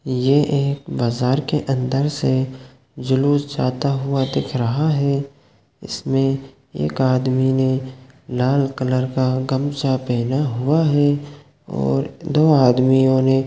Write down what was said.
यह एक बाजार अंदर से जुलुस जाता हुआ दिख रहा है इसमें एक आदमी ने लाल गमछा पहना हुआ है और दो आदमियों ने--